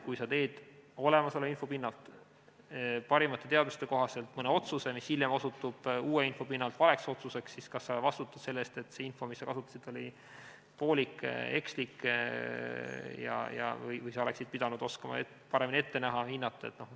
Kui sa teed olemasoleva info pinnalt, parimate teadmiste kohaselt mõne otsuse, mis hiljem, uue info pinnalt osutub valeks otsuseks, siis kas sa vastutad selle eest, et see info, mida sa kasutasid, oli poolik, ekslik, või sa oleksid pidanud oskama paremini ette näha, hinnata?